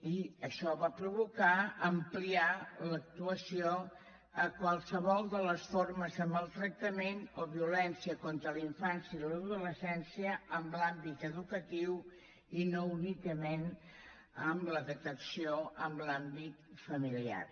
i això va provocar ampliar l’actuació a qualsevol de les formes de maltractament o violència contra la infància i l’adolescència en l’àmbit educatiu i no únicament amb la detecció en l’àmbit familiar